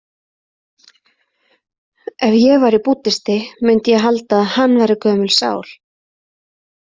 Ef ég væri búddisti myndi ég halda að hann væri gömul sál.